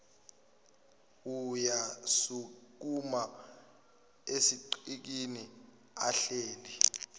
uyasukuma esigqikini ahleli